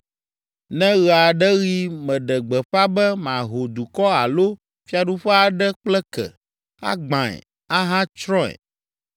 Ne ɣe aɖe ɣi meɖe gbeƒã be maho dukɔ alo fiaɖuƒe aɖe kple ke, agbãe, ahatsrɔ̃e,